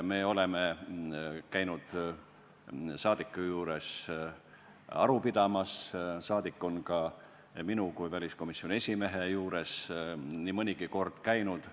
Me oleme käinud saadiku juures aru pidamas, saadik on ka minu kui väliskomisjoni esimehe juures nii mõnigi kord käinud.